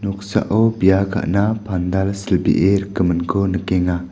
noksao bia ka·na pandal silbee rikgiminko nikenga.